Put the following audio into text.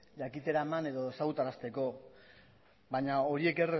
jakitera eman edo ezagutarazteko baina horiek